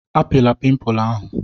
Apịla pimpụ ahụ!